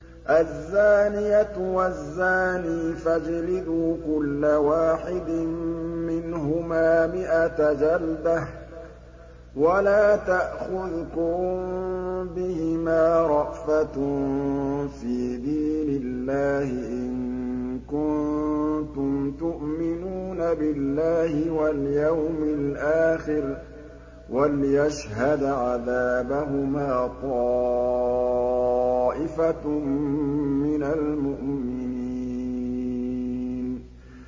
الزَّانِيَةُ وَالزَّانِي فَاجْلِدُوا كُلَّ وَاحِدٍ مِّنْهُمَا مِائَةَ جَلْدَةٍ ۖ وَلَا تَأْخُذْكُم بِهِمَا رَأْفَةٌ فِي دِينِ اللَّهِ إِن كُنتُمْ تُؤْمِنُونَ بِاللَّهِ وَالْيَوْمِ الْآخِرِ ۖ وَلْيَشْهَدْ عَذَابَهُمَا طَائِفَةٌ مِّنَ الْمُؤْمِنِينَ